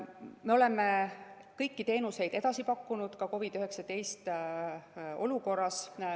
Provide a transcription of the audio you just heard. Me oleme kõiki teenuseid edasi pakkunud ka COVID‑19 olukorras.